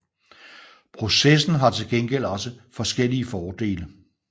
Processen har til gengæld også forskellige fordele